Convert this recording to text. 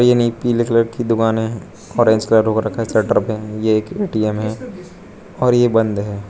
ये नई पीले कलर की दुकाने ऑरेंज कलर हो रखा है शटर पे ये एक ए_टी_एम है और यह बंद है।